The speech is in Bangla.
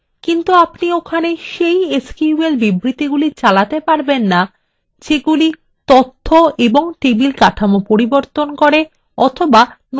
কিন্তু আপনি ওখানে sql এসকিউএল স্টেটমেন্টগুলি চালাতে পারবেন না যেগুলি তথ্য ও table কাঠামো পরিবর্তন করে but নতুন table তৈরি করবে